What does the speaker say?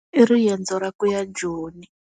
I riendzo ya kuya Joni.